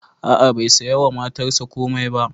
A'a bai saya wa matarsa komai ba